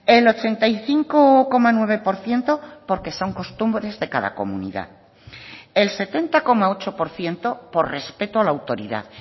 el ochenta y cinco coma nueve por ciento porque son costumbres de cada comunidad el setenta coma ocho por ciento por respeto a la autoridad